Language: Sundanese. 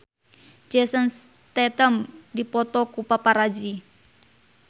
Jason Statham dipoto ku paparazi